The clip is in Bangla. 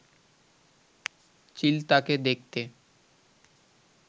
চিল তাকে দেখতে